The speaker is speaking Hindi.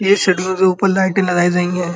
ये शट्टर के ऊपर लाइटे लगायी गयी हैं।